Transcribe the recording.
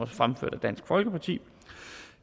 fremført af dansk folkeparti